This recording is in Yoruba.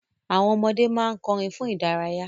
Àwọn ọmọdé ma n kọrin fun idaraya.